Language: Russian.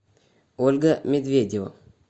ольга медведева